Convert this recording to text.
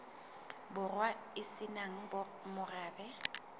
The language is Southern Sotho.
borwa e se nang morabe